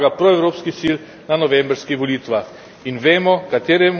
Prvi korak k temu je zmaga proevropskih sil na novembrskih volitvah.